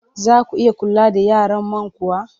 Za ku iya kula da yaran man kuwa?